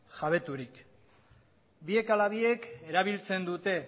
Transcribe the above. jabeturik biek ala biek erabiltzen dute